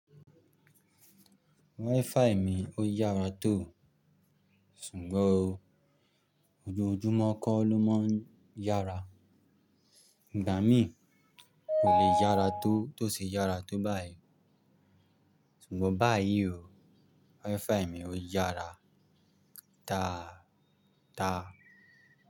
WiFi mi ó yára tó, ṣùgbọ́n ojoojúmọ́ kọ́ ló máa ń yára. Ìgbà mí kò le yára tó tó ṣe yára tó báyìí. Ṣùgbọ́n báyìí o, WiFi mi ó yára dáadáa.